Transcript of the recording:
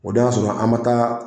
O don y'a sɔrɔ an ma taa